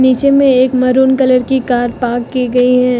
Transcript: पीछे में एक मैरून कलर की कार पार्क की गई हैं।